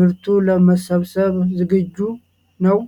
ምርቱ ለመሰብሰብ ዝግጁ ነው?